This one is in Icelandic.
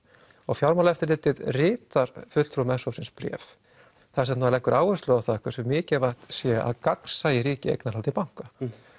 fjármálaeftirlitið ritar fulltrúum s hópsins bréf þar sem það leggur áherslu á það hversu mikilvægt sé að gagnsæi ríki eignarhaldi banka